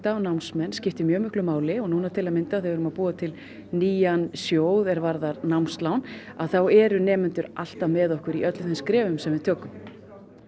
og námsmenn skiptir mjög miklu máli núna til að mynda þegar við erum að búa til nýjan sjóð er varðar námslán þá eru nemendur alltaf með okkur í öllum þeim skrefum sem við tökum